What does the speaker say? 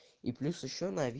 и плюс ещё